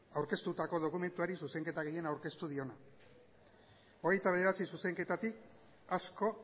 aurkeztutako dokumentuari zuzenketa gehien aurkeztu diona hogeita bederatzi zuzenketatik asko